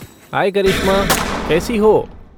हाय करिश्मा, कैसी हो?